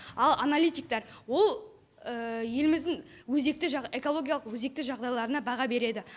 ал аналитиктар ол еліміздің өзекті экологиялық өзекті жағдайларына баға береді